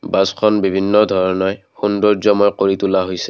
বাছখন বিভিন্ন ধৰণে সৌন্দৰ্য্যময় কৰি তোলা হৈছে।